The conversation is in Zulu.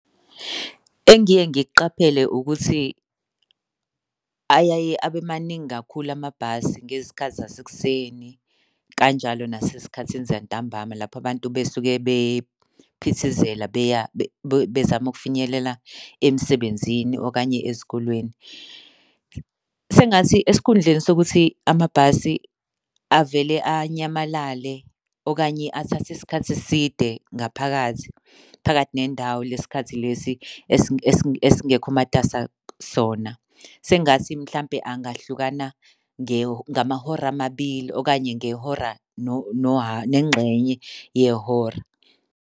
Engiye ngikuqaphele ukuthi ayaye abe maningi kakhulu amabhasi ngezikhathi zasekuseni kanjalo nasezikhathini zantambama lapho abantu besuke bephithizela beya bezama ukufinyelela emsebenzini okanye ezikolweni. Sengathi esikhundleni sokuthi amabhasi avele anyamalale okanye athathe isikhathi eside ngaphakathi, phakathi nendawo lesi sikhathi lesi esingekho matasa sona. Sengathi mhlampe angahlukana ngamahora amabili okanye ngehora nengxenye yehora.